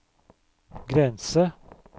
grense